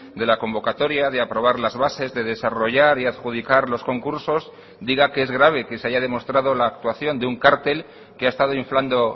de la convocatoria de aprobar las bases de desarrollar y adjudicar los concursos diga que es grave que se haya demostrado la actuación de un cártel que ha estado inflando